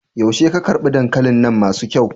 Yaushe ka girbe dankalin nan masu kyau?